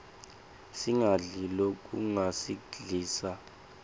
singadli lokungasiglisa